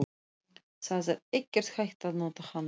Það er ekkert hægt að nota hana.